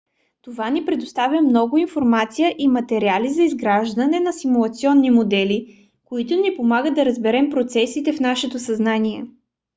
това ни предоставя много информация и материали за изграждане на симулационни модели които ни помагат да разберем процесите в нашето съзнание